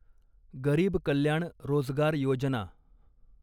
गरीब कल्याण रोजगार योजना